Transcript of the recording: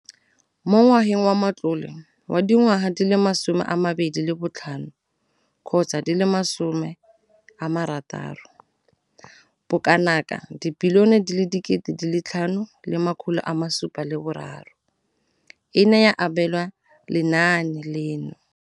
Mo ngwageng wa matlole wa 2015 gotsa di le16, bokanaka 5 703 bilione e ne ya abelwa lenaane leno.